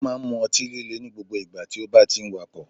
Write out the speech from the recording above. O máa n mu otí líle ní gbogbo ìgbà tí o bá ti n wakò